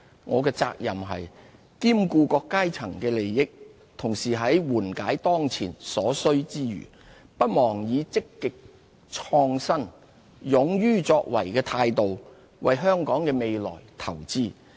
我的責任是兼顧各階層的利益，同時在緩解當前所需之餘，不忘以積極創新、勇於作為的態度，為香港的未來投資。